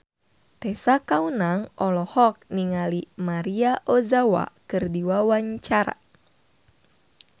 Tessa Kaunang olohok ningali Maria Ozawa keur diwawancara